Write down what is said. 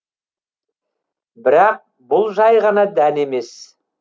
бірақ бұл жай ғана дән емес